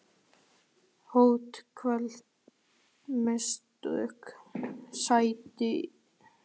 Hödd Vilhjálmsdóttir: Sætir?